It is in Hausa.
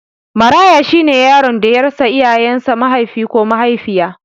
Maraya shine yaron da ya rasa iyayen sa Mahaifi ko Mahaifiya